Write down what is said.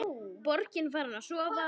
Borgin farin að sofa.